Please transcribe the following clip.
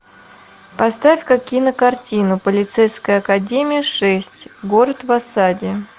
поставь ка кинокартину полицейская академия шесть город в осаде